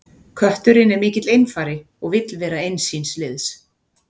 Kötturinn er mikill einfari og vill vera eins síns liðs.